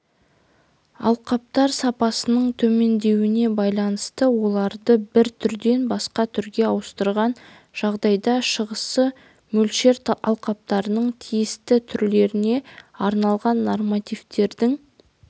алқаптар сапасының төмендеуіне байланысты оларды бір түрден басқа түрге ауыстырған жағдайда шығасы мөлшер алқаптардың тиісті түрлеріне арналған нормативтердің